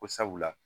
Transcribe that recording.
Ko sabula